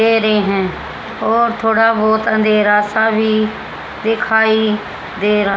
दे रहे हैं और थोड़ा बहोत अंधेरा सा भी दिखाई दे रहा।